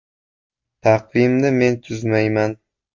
Taqvimni men tuzmayman.